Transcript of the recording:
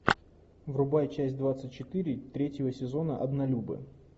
врубай часть двадцать четыре третьего сезона однолюбы